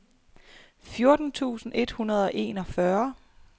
fjorten tusind et hundrede og enogfyrre